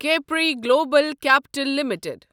Capri Global Capital limited